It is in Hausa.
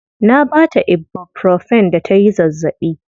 Na baa ta ibuprofen da tayi zazzaɓi.